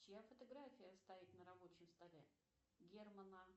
чья фотография стоит на рабочем столе германа